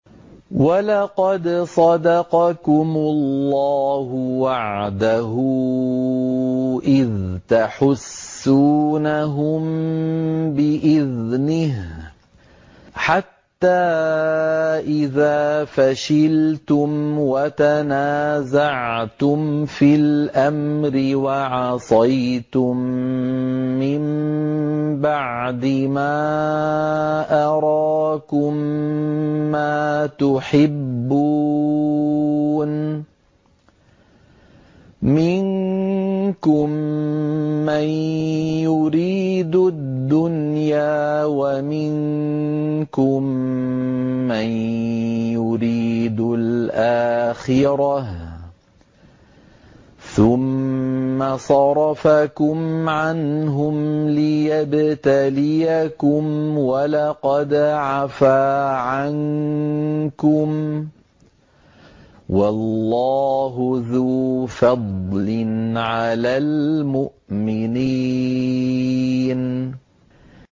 وَلَقَدْ صَدَقَكُمُ اللَّهُ وَعْدَهُ إِذْ تَحُسُّونَهُم بِإِذْنِهِ ۖ حَتَّىٰ إِذَا فَشِلْتُمْ وَتَنَازَعْتُمْ فِي الْأَمْرِ وَعَصَيْتُم مِّن بَعْدِ مَا أَرَاكُم مَّا تُحِبُّونَ ۚ مِنكُم مَّن يُرِيدُ الدُّنْيَا وَمِنكُم مَّن يُرِيدُ الْآخِرَةَ ۚ ثُمَّ صَرَفَكُمْ عَنْهُمْ لِيَبْتَلِيَكُمْ ۖ وَلَقَدْ عَفَا عَنكُمْ ۗ وَاللَّهُ ذُو فَضْلٍ عَلَى الْمُؤْمِنِينَ